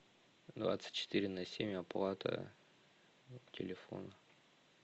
двадцать четыре на семь оплата телефона